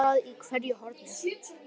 Það er skvaldrað í hverju horni.